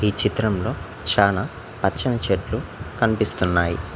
ఈ చిత్రంలో చానా పచ్చని చెట్లు కనిపిస్తున్నాయి.